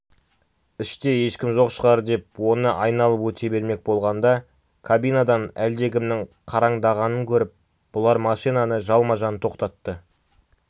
іште ешкім жоқ шығар деп оны айналып өте бермек болғанда кабинадан әлдекімнің қараңдағанын көріп бұлар машинаны жалма-жан тоқтатты